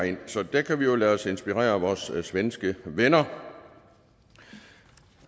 så der kan vi jo lade os inspirere af vores svenske venner